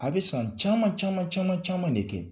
A bɛ san caman caman caman caman de kɛ